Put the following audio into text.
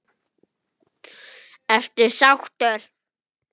Ertu sáttur?